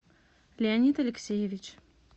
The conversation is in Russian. леонид алексеевич